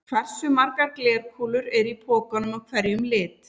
Hversu margar glerkúlur eru í pokanum af hverjum lit?